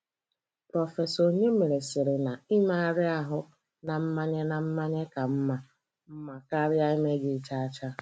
Prọfesọ Onyemere sịrị na Imegharị ahụ na mmanye na mmanye ka mma mma karịa emeghị chacha.